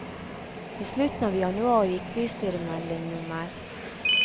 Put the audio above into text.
I slutten av januar gikk bystyremelding nr.